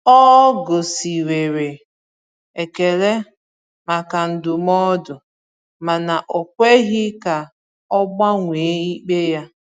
Ọ gosiwere ekele maka ndụmọdụ, mana o kweghị ka ọ gbanwee ikpe ya.